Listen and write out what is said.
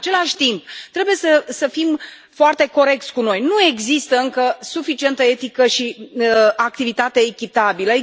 În același timp trebuie să fim foarte corecți cu noi nu există încă suficientă etică și activitate echitabilă.